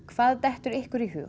hvað dettur ykkur í hug